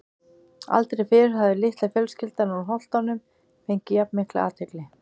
Aldrei fyrr hafði litla fjölskyldan úr Holtunum fengið jafn mikla athygli.